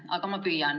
Aga ma püüan.